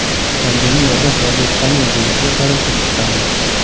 Pandemiyada vaziyat qanday bo‘lishiga qarab ish tutamiz.